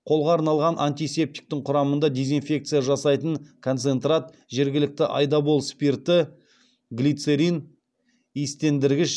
қолға арналған антисептиктің құрамында дезинфекция жасайтын концентрат жергілікті айдабол спирті глицерин иістендіргіш